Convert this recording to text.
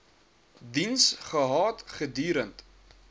diens gehad gedurend